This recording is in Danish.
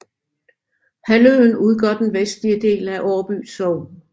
Halvøen udgør den vestlige del af Årby Sogn